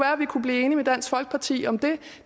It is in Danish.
at vi kunne blive enige med dansk folkeparti om det